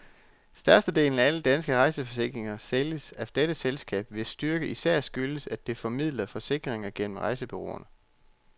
Størstedelen af alle danske rejseforsikringer sælges af dette selskab, hvis styrke især skyldes, at det formidler forsikringer gennem rejsebureauerne.